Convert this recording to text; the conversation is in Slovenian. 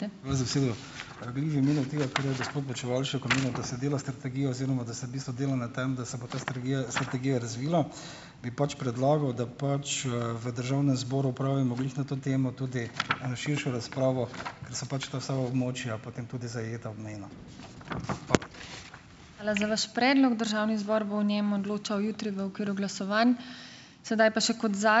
Hvala za besedo. Rad bi v imenu tega, kar je gospod Počivalšek omenil, da se dela strategija oziroma da se v bistvu dela na tem, da se bo ta strategija razvila, bi pač predlagal, da pač, v državnem zboru opravimo glih na to temo tudi eno širšo razpravo, ker so pač ta vsa območja potem tudi zajeta obmejno.